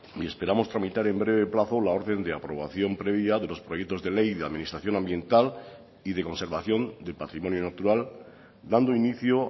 y esperamos tramitar en breve plazo la orden de aprobación previa de los proyectos de ley de administración ambiental y de conservación del patrimonio natural dando inicio